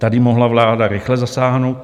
Tady mohla vláda rychle zasáhnout.